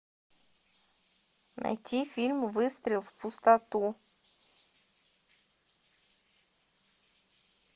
найти фильм выстрел в пустоту